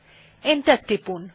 enter টিপুন